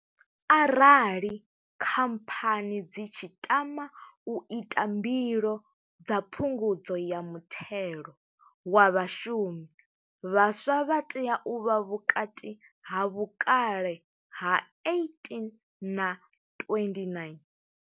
Arali Khamphani dzi tshi tama u ita mbilo dza Phungudzo ya Muthelo wa Vhashumi, vhaswa vha tea u vha vhukati ha vhukale ha 18 na 29.